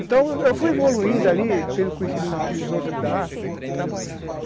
Então eu fui evoluindo ali, tendo conhecimento daqueles outros acolá, a trabalhar.